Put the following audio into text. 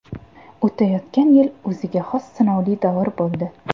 O‘tayotgan yil o‘ziga xos sinovli davr bo‘ldi.